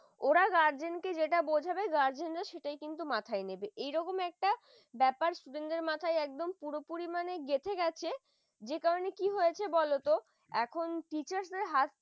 ওরা guardian কে যেটা বোঝাবে, guardian রা সেটাই কিন্তু মাথায় নেবে একটা ব্যাপার student দের মাথায় একদম পুরোপুরি মানে গেঁথে গেছে যে কারণে কি কি হয়েছে বলোতো এখন teachers রা হাত